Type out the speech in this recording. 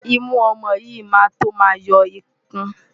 Imú ọmọ yín máa tó máa yọ ikun.